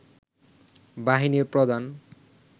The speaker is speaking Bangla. বাহিনীর প্রধান